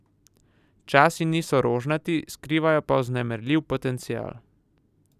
Časi niso rožnati, skrivajo pa vznemirljiv potencial!